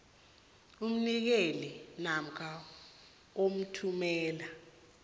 umnikeli namkha othumela